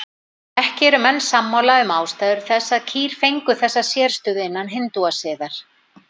Ekki eru menn sammála um ástæður þess að kýr fengu þessa sérstöðu innan hindúasiðar.